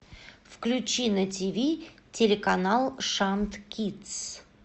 включи на тиви телеканал шант кидс